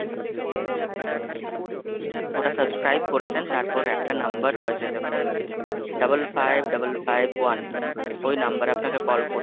ওটা subscribe করেছেন, তারপর একটা number রয়েছে দেখুন? Double five double five one, ওই number এ আপনাকে call করতে,